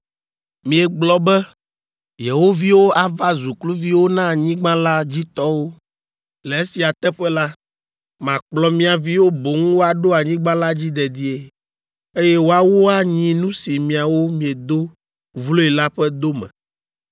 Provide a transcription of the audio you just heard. Miegblɔ be yewo viwo ava zu kluviwo na anyigba la dzi tɔwo. Le esia teƒe la, makplɔ mia viwo boŋ woaɖo anyigba la dzi dedie, eye woawo anyi nu si miawo miedo vloe la ƒe dome.